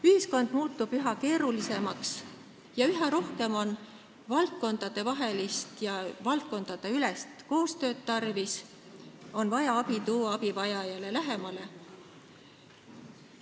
Ühiskond muutub üha keerulisemaks ja üha rohkem on tarvis valdkondadevahelist koostööd, abi on vaja tuua abivajajale lähemale.